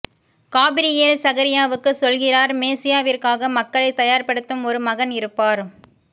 Gabriel சகரியாவுக்குச் சொல்கிறார் மேசியாவிற்காக மக்களைத் தயார்படுத்தும் ஒரு மகன் இருப்பார்